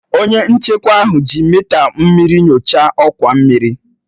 Onye nchekwa ahụ ji mịta mmiri nyochaa ọkwa mmiri